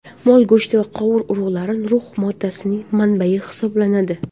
Mol go‘shti va qovoq urug‘lari rux moddasining manbayi hisoblanadi.